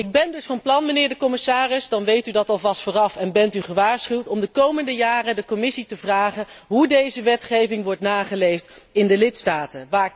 Ik ben dus van plan, mijnheer de commissaris, dan weet u dat alvast vooraf en bent u gewaarschuwd om de komende jaren de Commissie te vragen hoe deze wetgeving wordt nageleefd in de lidstaten.